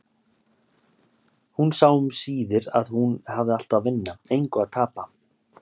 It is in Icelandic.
Hún sá um síðir að hún hafði allt að vinna, engu að tapa.